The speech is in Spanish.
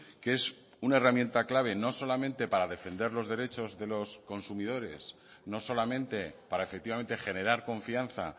que es una herramienta clave no solamente para defender los derechos de los consumidores no solamente para efectivamente generar confianza